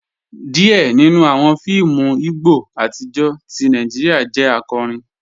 Díẹ̀ nínú awọn fíìmù Ìgbò atijọ́ tì Nàìjíríà jẹ́ àkọ́rín.